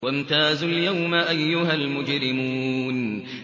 وَامْتَازُوا الْيَوْمَ أَيُّهَا الْمُجْرِمُونَ